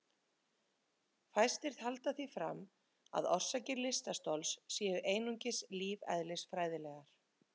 Fæstir halda því fram að orsakir lystarstols séu einungis lífeðlisfræðilegar.